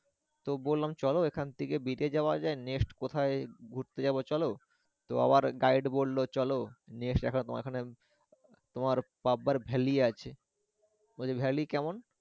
তো বললাম চলো এখান থেকে বিটে যাওয়া যায় next কোথায় ঘুরতে যাবো চলো তো আবার guide বললো চলো next তোমার পাব্বার valley আছে বলছি valley কেমন।